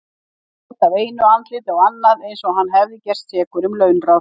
Hann leit af einu andliti á annað eins og hann hefði gerst sekur um launráð.